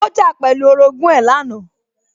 Ó jà pẹ̀lú orogún ẹ̀ lánàá